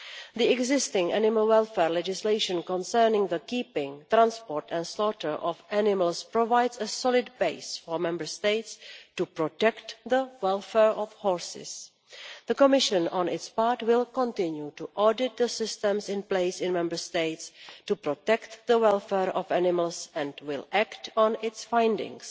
The existing animal welfare legislation concerning the keeping, transport and slaughter of animals provides a solid base for Member States to protect the welfare of horses. The Commission for its part will continue to audit the systems in place in Member States to protect the welfare of animals and will act on its findings